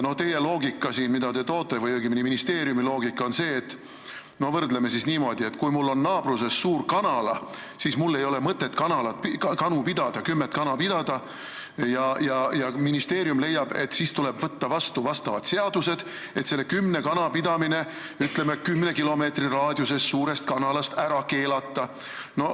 Teie loogika või õigemini ministeeriumi loogika, mida te siin esitate, on selline: kui mul on naabruses suur kanala, siis mul ei ole mõtet oma kümmet kana pidada ja ministeerium leiab, et tuleb võtta vastu vastavad seadused ehk, ütleme, kümne kana pidamine kümne kilomeetri raadiuses suurest kanalast ära keelata.